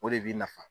O de b'i nafa